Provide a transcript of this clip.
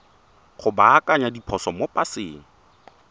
go baakanya diphoso mo paseng